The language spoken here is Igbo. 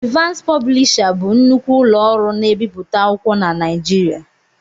Evans Pọblisha bụ nnukwu ụlọ ọrụ na-ebiputa akwụkwọ na Naijiriia